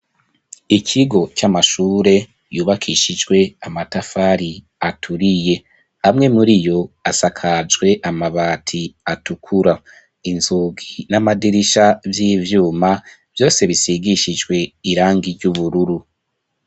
Ikigo c'amashure yubakishijwe amatafari aturiye amwe muriyo asakajwe amabati atukura inzugi n'amadirisha vy'ivyuma vyose bisigishijwe irangi ry'ubururu.